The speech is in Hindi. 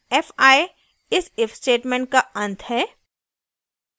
fi इस if statement का अंत है